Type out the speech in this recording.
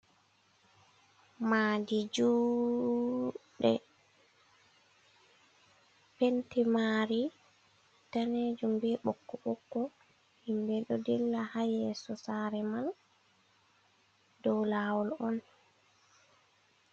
Madi juɗɗe penti mari danejum bee ɓokko-ɓokko, himɓe ɗo dilla haa yeso saare man dow lawol on.